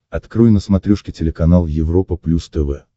открой на смотрешке телеканал европа плюс тв